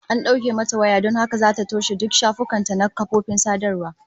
An dauke mata waya don haka zata toshe duk shafukan ta na kafofin sadarwa